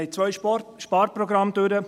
Wir haben zwei Sparprogramme hinter uns.